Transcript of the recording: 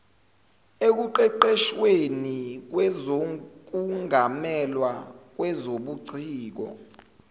ekuqeqeshweni kwezokungamelwa kwezobuciko